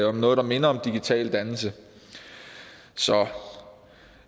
om noget der minder om digital dannelse så